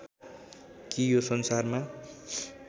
कि यो संसारमा